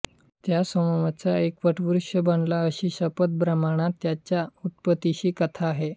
त्या सोमचमसाचा एक वटवृक्ष बनला अशी शतपथ ब्राह्मणात याच्या उत्पत्तीची कथा आहे